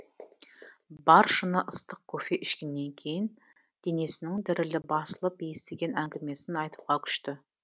бар шыны ыстық кофе ішкеннен кейін денесінің дірілі басылып естіген әңгімесін айтуға күшті